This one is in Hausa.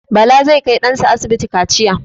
Bala zai kai ɗan sa asibiti kaciya.